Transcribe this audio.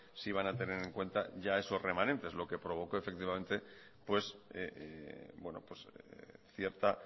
sí van a tener en cuenta ya esos remanentes lo que provocó pues cierta